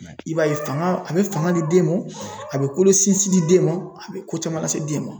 I b'a ye fanga a bɛ fanga di den mɔn, a bɛ kolo sinsin di den mɔn, a bɛ ko caman lase den mɔn.